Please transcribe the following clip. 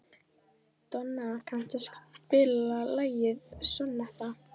Donna, kanntu að spila lagið „Sonnetta“?